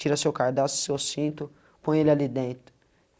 Tira seu cadarço, seu cinto, põe ele ali dentro.